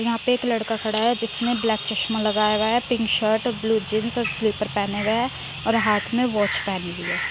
यहाँ पे एक लड़का खड़ा है जिसने ब्लैक चश्मा लगाया हुआ है पिंक शर्ट ब्लू जींस और स्लीपर पहने हुए है और हाथ में वाच पहनी हुई है।